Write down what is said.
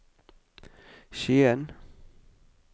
Skien